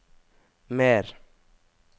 mer